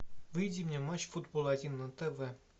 выведи мне матч футбол один на тв